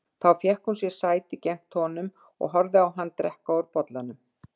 Þá fékk hún sér sæti gegnt honum og horfði á hann drekka úr bollanum.